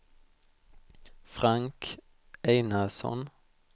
Frank Einarsson